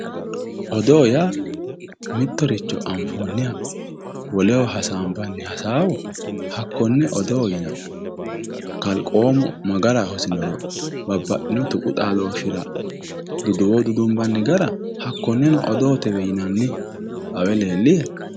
Odoo yaa mittoricho anfoonniha hasaanbanni hasaawa hakkonne odoo yinanni. Kalqoomu ma gara hosinoro duduwo dudunbanni gara hakkoneno odootewe yinanni. Xawe leellihe?